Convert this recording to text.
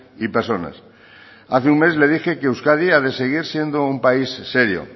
y personas hace un mes le dije que euskadi ha de seguir siendo un país serio